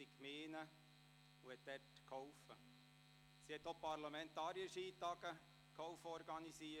Sie half auch mit, Parlamentarier-Skitage zu organisieren.